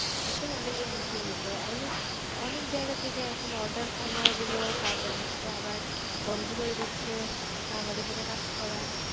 এটাও অনেক হুমকির মুখে অনেক অনেক জায়গা থেকে এখন Order কমায় দিলো তারপর হচ্ছে আবার বন্ধ করে দিচ্ছে আমাদের সাথে কাজ করা